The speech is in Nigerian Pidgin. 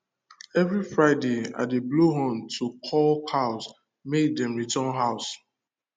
every friday i dey blow horn to call cows make dem return house